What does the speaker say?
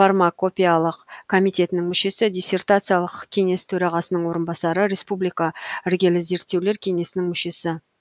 фармакопеялық комитетінің мүшесі диссертациялық кеңес төрағасының орынбасары республика іргелі зерттеулер кеңесінің мүшесі